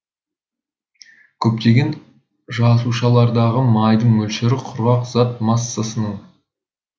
көптеген жасушалардағы майдың мөлшері құрғақ зат массасының